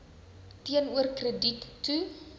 teenoor krediet toe